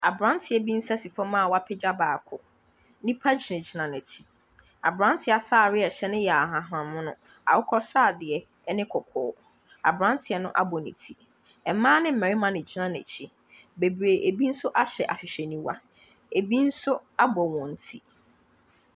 Aberanteɛ bi nsa si famu a wɔapagya baako. Nnipa gyinagyina n’akyi. Aberanteɛ no ataadeɛ a ɛhyɛ no yɛ ahahanmono, akokɔsradeɛ ne kɔkɔɔ. aberanteɛ no abɔ ne ti. Mmaa ne mmarima na ɛgyina n’akyi. Bebree, bi ahyɛ ahwehwɛniwa, bi nso abɔ hɔn ti.